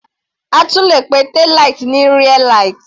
A tún le pe taillight ní rear light.